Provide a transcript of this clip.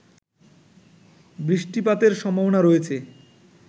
বৃষ্টিপাতের সম্ভাবনা রয়েছে